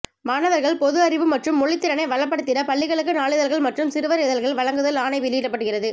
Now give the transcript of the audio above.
மாணவர்கள் பொது அறிவு மற்றும் மொழித்திறனை வளப்படுத்திட பள்ளிகளுக்கு நாளிதழ்கள் மற்றும் சிறுவர் இதழ்கள் வழங்குதல் ஆணை வெளியிடப்படுகிறது